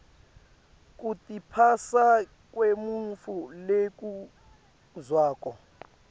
kutiphasa kwemuntfu lofundzako